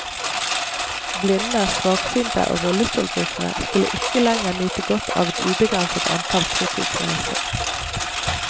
Blinde, svaksynte og rullestolbrukere skulle ikke lenger nyte godt av et ubegrenset antall fritidsreiser.